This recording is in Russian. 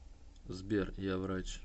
сбер я врач